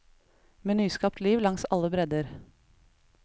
Med nyskapt liv langs alle bredder.